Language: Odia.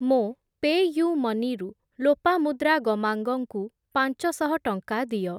ମୋ ପେ'ୟୁ'ମନି ରୁ ଲୋପାମୁଦ୍ରା ଗମାଙ୍ଗ ଙ୍କୁ ପାଞ୍ଚଶହ ଟଙ୍କା ଦିଅ।